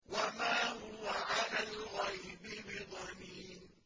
وَمَا هُوَ عَلَى الْغَيْبِ بِضَنِينٍ